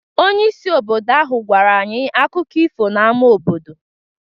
Onyeisi obodo ahụ gwara anyị akụkọ ifo n’ámá obodo.